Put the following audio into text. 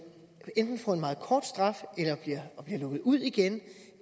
enten får en meget kort straf eller bliver lukket ud igen